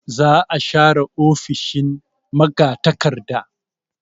Za a share ofishin magatakarda.